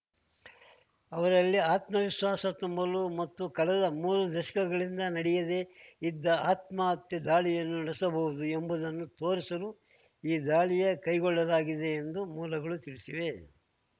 ಅವರಲ್ಲಿ ಆತ್ಮವಿಶ್ವಾಸ ತುಂಬಲು ಮತ್ತು ಕಳೆದ ಮೂರು ದಶಕಗಳಿಂದ ನಡೆಯದೆ ಇದ್ದ ಆತ್ಮಹತ್ಯಾ ದಾಳಿಯನ್ನೂ ನಡೆಸಬಹುದು ಎಂಬುದನ್ನು ತೋರಿಸಲು ಈ ದಾಳಿಯ ಕೈಗೊಳ್ಳಲಾಗಿದೆ ಎಂದು ಮೂಲಗಳು ತಿಳಿಸಿವೆ